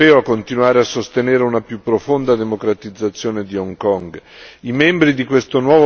Incoraggio il Parlamento europeo a continuare a sostenere una più profonda democratizzazione di Hong Kong.